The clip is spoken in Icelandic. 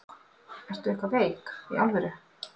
Ertu eitthvað veik. í alvöru?